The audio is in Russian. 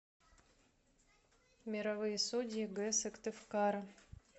мировые судьи г сыктывкара